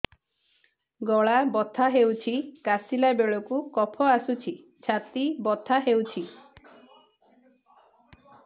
ଗଳା ବଥା ହେଊଛି କାଶିଲା ବେଳକୁ କଫ ଆସୁଛି ଛାତି ବଥା ହେଉଛି